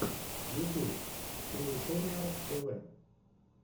ютьюб криэйториар тв